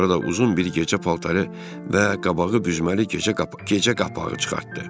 Sonra da uzun bir gecə paltarı və qabağı büzməli gecə papağı çıxartdı.